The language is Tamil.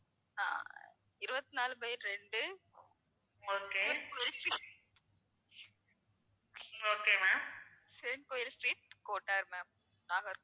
இருவத்தி நாலு by ரெண்டு சிவன் கோயில் street கோட்டார் ma'am நாகர்கோவில்